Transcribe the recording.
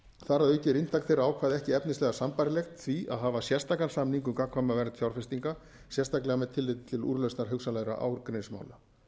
þar að auki er inntak þeirra ákvæða ekki efnislega sambærilegt því að hafa sérstakan samning um gagnkvæma vernd fjárfestinga sérstaklega með tilliti til úrlausnar hugsanlegra ágreiningsmála